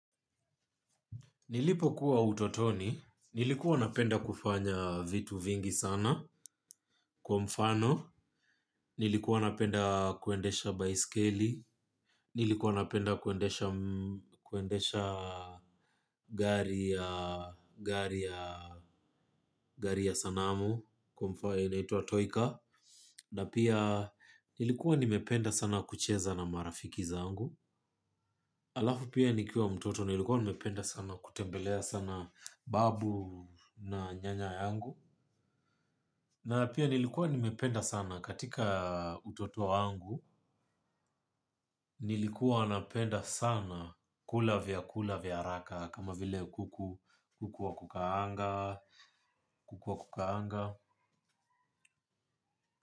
Nilipokuwa utotoni, nilikuwa napenda kufanya vitu vingi sana kwa mfano, nilikuwa napenda kuendesha baiskeli, nilikuwa napenda kuendesha gari ya sanamu inaitwa toya car, na pia nilikuwa nimependa sana kucheza na marafiki zangu. Alafu pia nikiwa mtoto nilikuwa nimependa sana kutembelea sana babu na nyanya yangu. Na pia nilikuwa nimependa sana katika utoto wangu, nilikuwa napenda sana kula vya lkula vya haraka kama vile kuku, kuku wa kukaanga, kuku wa kukaanga.